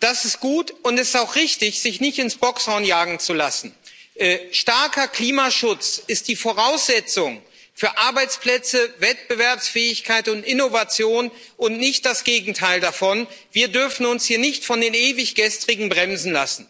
Das ist gut, und es ist auch richtig, sich nicht ins Bockshorn jagen zu lassen. Starker Klimaschutz ist die Voraussetzung für Arbeitsplätze, Wettbewerbsfähigkeit und Innovation und nicht das Gegenteil davon. Wir dürfen uns hier nicht von den ewig Gestrigen bremsen lassen.